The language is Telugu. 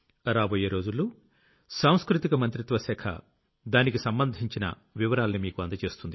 రాబోయే రోజుల్లో సాంస్కృతిక మంత్రిత్వ శాఖ దానికి సంబంధించిన వివరాల్ని మీకు అందజేస్తుంది